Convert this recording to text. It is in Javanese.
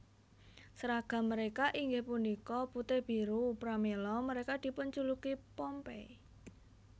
Sèragam mereka inggih punika putih biru pramila mereka dipunjuluki Pompey